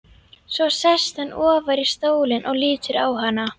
Svo sest hann ofar í stólinn og lítur á hana.